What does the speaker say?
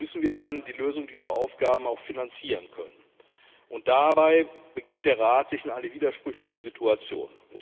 Allerdings müssen wir dann die Lösung dieser Aufgaben auch finanzieren können, und dabei begibt der Rat sich in eine widersprüchliche Situation.